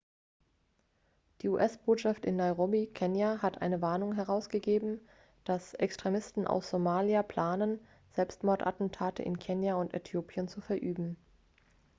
die us-botschaft in nairobi kenia hat eine warnung herausgegeben dass extremisten aus somalia planen selbstmordattentate in kenia und äthiopien zu verüben